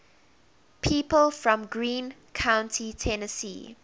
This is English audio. people from greene county tennessee